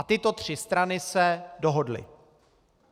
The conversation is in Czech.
A tyto tři strany se dohodly.